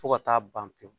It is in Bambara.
Fo ka taa ban pewu